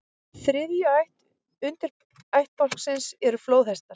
Þriðja ætt undirættbálksins eru flóðhestar.